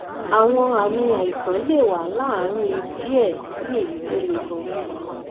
àwọn àmì àìsàn lè wà láàárín díẹ sí èyí tó le gan